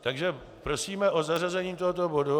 Takže prosíme o zařazení tohoto bodu.